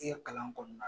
I ye kalan kɔnɔna